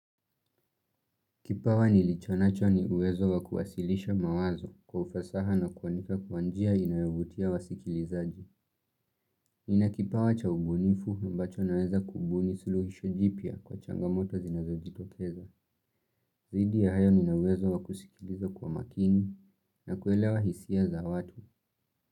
Kipawa nilichonacho ni uwezo wa kuwasilisha mawazo kwa ufasaha na kuwanika kwa njia inayovutia wa sikilizaji. Nina kipawa cha ubunifu ambacho naweza kubuni suluhisho jipya kwa changamoto zinazo jitokeza. Zaidi ya hayo ninauwezo wa kusikilizo kwa makini na kuelewa hisia za watu.